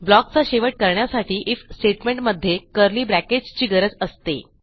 block चा शेवट करण्यासाठी आयएफ स्टेटमेंट मध्ये कर्ली bracketsची गरज असते